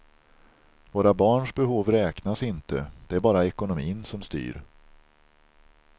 Våra barns behov räknas inte, det är bara ekonomin som styr.